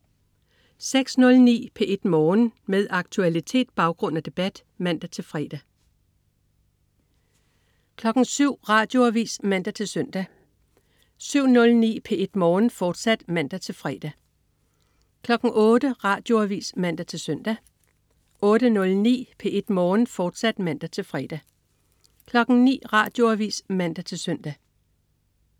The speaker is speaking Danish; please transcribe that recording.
06.09 P1 Morgen. Med aktualitet, baggrund og debat (man-fre) 07.00 Radioavis (man-søn) 07.09 P1 Morgen, fortsat (man-fre) 08.00 Radioavis (man-søn) 08.09 P1 Morgen, fortsat (man-fre) 09.00 Radioavis (man-søn)